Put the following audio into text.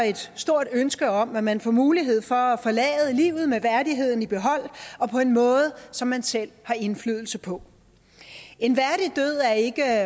et stort ønske om at man får mulighed for at forlade livet med værdigheden i behold og på en måde som man selv har indflydelse på en værdig død er ikke